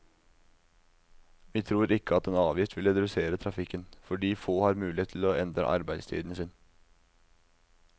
Vi tror ikke at en avgift vil redusere trafikken, fordi få har mulighet til å endre arbeidstiden sin.